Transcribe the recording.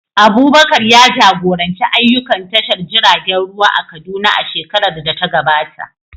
Abubakar ya jagoranci ayyukan tashar jiragen ruwa a Kaduna a shekarar da ta gabata.